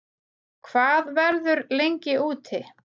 Hvað verður lengi úti